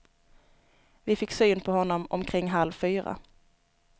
Vi fick syn på honom omkring halv fyra.